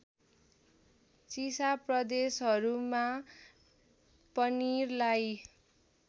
चिसा प्रदेशहरूमा पनिरलाई